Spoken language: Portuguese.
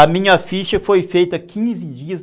A minha ficha foi feita quinze dias